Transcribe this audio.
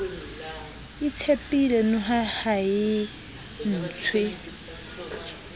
itshepile noha ha e ntshwe